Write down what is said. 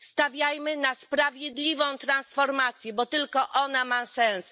Stawiajmy na sprawiedliwą transformację, bo tylko ona ma sens.